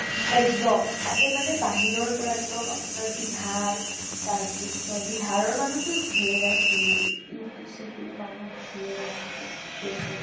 একদম । তাতে মানে বাহিৰৰ পৰা একদম মানে বিহাৰ, তাৰপিছত বিহাৰ ৰ মানুহ তো ধেৰ আছিলে । UP চিওপি মানুহ ধেৰ আছিলে । west